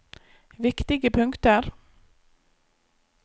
viktige punkter